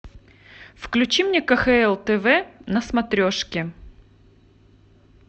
включи мне кхл тв на смотрешке